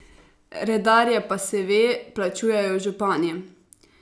Redarje pa, se ve, plačujejo župani ...